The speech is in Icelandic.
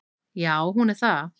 Já hún er það.